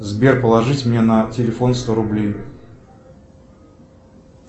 сбер положить мне на телефон сто рублей